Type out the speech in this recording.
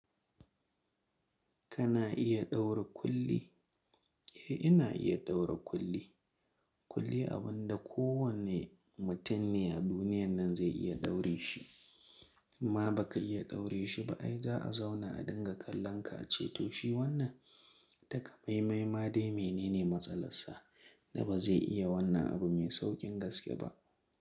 Kana iya ɗaura kulli? Eh ina iya ɗaura kulli. Kulli abun da kowane mutum ne a duniyan nan zai iya daure shi. Imma baka iya daure shi ba. Ai za a zauna a dinga kallon ka ace to shi wannan takamaimai ma dai menene matsalar sa da ba zai iya wannan abu mai sauƙin gaske ba.